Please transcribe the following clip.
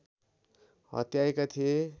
हत्याएका थिए